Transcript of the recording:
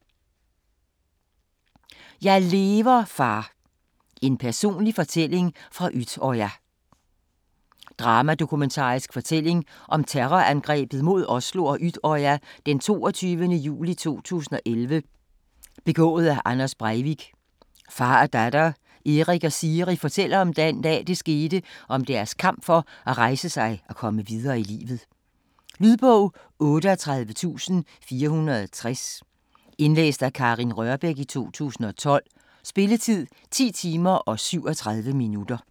Jeg lever, far: en personlig fortælling fra Utøya Dramadokumentarisk fortælling om terrorangrebet mod Oslo og Utøya den 22. juli 2011 begået af Anders Breivik. Far og datter, Erik og Siri, fortæller om den dag, det skete og om deres kamp for at rejse sig og komme videre i livet. Lydbog 38460 Indlæst af Karin Rørbech, 2012. Spilletid: 10 timer, 37 minutter.